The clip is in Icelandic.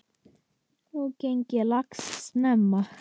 Nú gangi lax snemma.